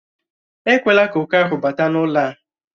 Ekwela ka oke ahụ bata n'ụlọ a!